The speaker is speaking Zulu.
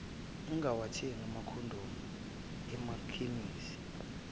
ungawathenga amakhondomu emakhemisi